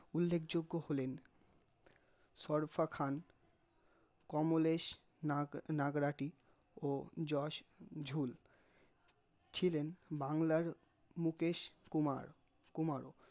উল্লেখযোগ্য হলেন চরফা খান, কমলেশ নাগ নাগরাটি, ও যশ ঝুল, ছিলেন বাংলার মুকেশ কুমার কুমারো